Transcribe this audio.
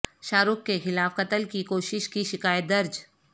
شاہ رخ کے خلاف قتل کی کوشش کی شکایت درج